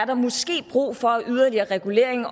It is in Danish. der måske er brug for af yderligere regulering